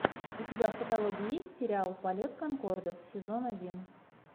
у тебя в каталоге есть сериал полет конкордов сезон один